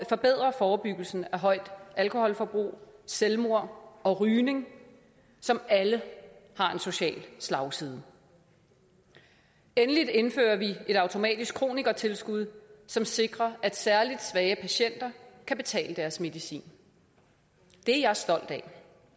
forbedre forebyggelsen af højt alkoholforbrug selvmord og rygning som alle har en social slagside endelig indfører vi et automatisk kronikertilskud som sikrer at særligt svage patienter kan betale deres medicin det er jeg stolt af